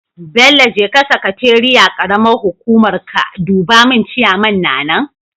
Bello jeka sakateeiyar karamar hukuma ka duba mun ciyaman na nan?